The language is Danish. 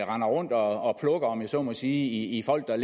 render rundt og plukker om jeg så må sige folk der